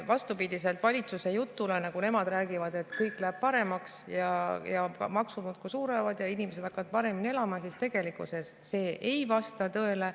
Vastupidiselt valitsuse jutule, et kõik läheb paremaks, maksud suurenevad ja inimesed hakkavad paremini elama, see tegelikkuses ei vasta tõele.